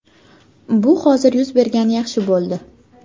Bu hozir yuz bergani yaxshi bo‘ldi.